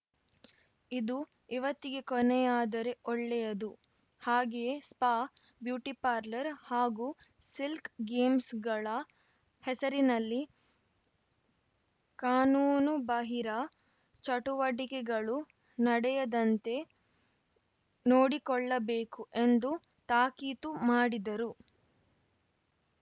ಇದು ಇವತ್ತಿಗೇ ಕೊನೆಯಾದರೆ ಒಳ್ಳೆಯದು ಹಾಗೆಯೇ ಸ್ಪಾ ಬ್ಯೂಟಿಪಾರ್ಲರ್‌ ಹಾಗೂ ಸ್ಕಿಲ್‌ ಗೇಮ್ಸ್‌ಗಳ ಹೆಸರಿನಲ್ಲಿ ಕಾನೂನುಬಾಹಿರ ಚಟುವಟಿಕೆಗಳು ನಡೆಯದಂತೆ ನೋಡಿಕೊಳ್ಳಬೇಕು ಎಂದು ತಾಕೀತು ಮಾಡಿದರು